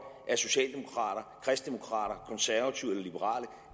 er socialdemokrater kristdemokrater konservative eller liberale